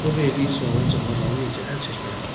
O verdiyi suala cavab alınca əl çəkməzdi.